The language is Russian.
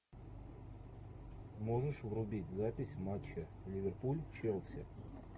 можешь врубить запись матча ливерпуль челси